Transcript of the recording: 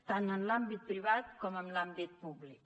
tant en l’àmbit privat com en l’àmbit públic